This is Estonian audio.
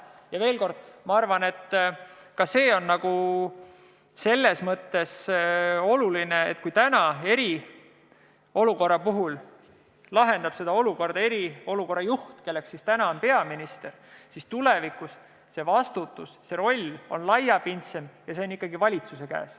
Ja veel kord, ma arvan, et ka see on oluline, et kui täna lahendab seda eriolukorda eriolukorra juht, kelleks on peaminister, siis tulevikus võib see vastutus või roll olla laiapindsem ja olla ikkagi valitsuse käes.